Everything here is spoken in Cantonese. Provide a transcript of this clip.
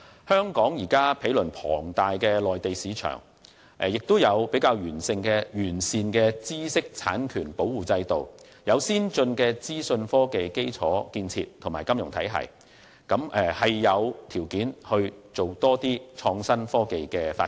香港毗鄰龐大的內地市場，有較完善的知識產權保護制度，也有先進的資訊科技基礎建設和金融體系，是有條件推動創新科技發展的。